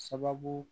Sababu